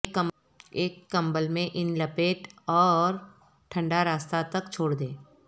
ایک کمبل میں ان لپیٹ اور ٹھنڈا راستہ تک چھوڑ دیں